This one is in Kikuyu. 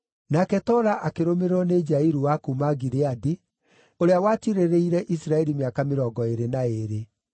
Nake Tola akĩrũmĩrĩrwo nĩ Jairu wa kuuma Gileadi, ũrĩa watiirĩrĩire Isiraeli mĩaka mĩrongo ĩĩrĩ na ĩĩrĩ.